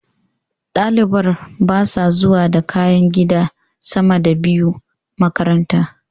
Ɗalibar basa zuwa da kayan gida sama da biyu makaranta